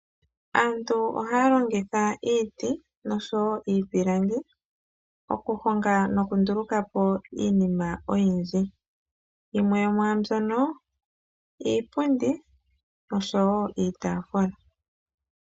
Aantu ohaya longitha iiti osho wo iipilangi okuhonga noku nduluka po iinima oyindji. Yimwe oyo iipundi nosho wo iitaafula.